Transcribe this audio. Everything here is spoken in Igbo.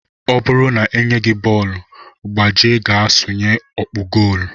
Ọ bụrụ na e nye gị bọọlụ, gbaje ga sụnye ọkpụ gool!